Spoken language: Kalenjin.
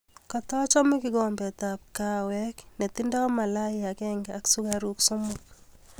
Katachome kikombetab kahawek netindoi malai agenge ak sukaruk somok